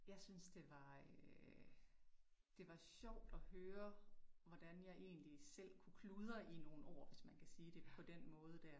Jeg synes det var øh det var sjovt at høre, hvordan jeg egentlig selv kunne kludre i nogle ord, hvis man kan sige det på den måde der